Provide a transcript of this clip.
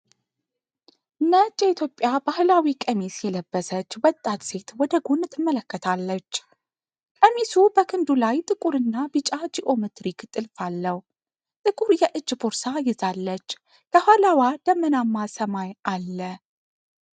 ነጭ የኢትዮጵያ ባህላዊ ቀሚስ የለበሰች ወጣት ሴት ወደ ጎን ትመለከታለች። ቀሚሱ በክንዱ ላይ ጥቁርና ቢጫ ጂኦሜትሪክ ጥልፍ አለው፤ ጥቁር የእጅ ቦርሳ ይዛለች። ከኋላዋ ደመናማ ሰማይ አለ።